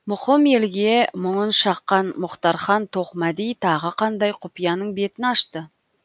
мұқым елге мұңын шаққан мұхтархан тоқмәди тағы қандай құпияның бетін ашты